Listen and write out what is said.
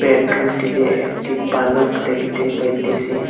বেডরুমটিতে একটি পালঙ্ক দেখিতে পাইতেসি।